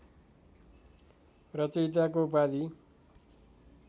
रचयिताको उपाधि